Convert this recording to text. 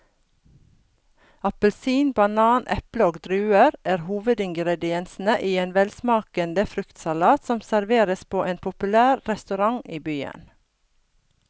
Appelsin, banan, eple og druer er hovedingredienser i en velsmakende fruktsalat som serveres på en populær restaurant i byen.